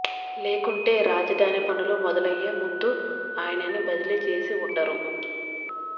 లేకుంటే రాజధాని పనులు మొదలయ్యే ముందు ఆయనని బదిలీ చేసి ఉండరు